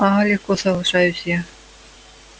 ага легко соглашаюсь я